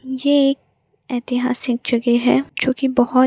यह एक ऐतिहासिक जगह है जो की बहुत --